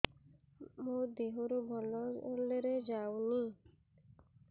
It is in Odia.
ମୋ ଦିହରୁ ଭଲରେ ଯାଉନି